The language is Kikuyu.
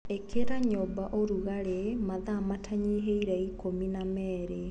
ĩkĩra nyũmba ũrugarĩ mathaa matanyihĩire ikũmi na merĩ.